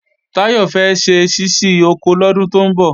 Táyọ̀ fẹ́ ṣe ṣíṣí oko lọ́dún tó ń bọ̀